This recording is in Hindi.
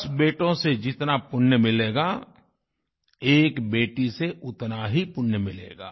दस बेटों से जितना पुण्य मिलेगा एक बेटी से उतना ही पुण्य मिलेगा